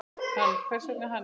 Hann, hvers vegna hann?